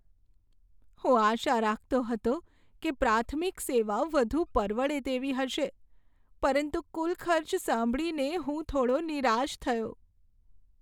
હું આશા રાખતો હતો કે પ્રાથમિક સેવા વધુ પરવડે તેવી હશે, પરંતુ કુલ ખર્ચ સાંભળીને હું થોડો નિરાશ થયો.